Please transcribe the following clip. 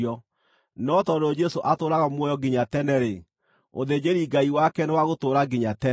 No tondũ Jesũ atũũraga muoyo nginya tene-rĩ, ũthĩnjĩri-Ngai wake nĩ wa gũtũũra nginya tene.